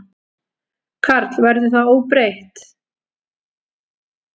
Karl: Verður það óbreytt?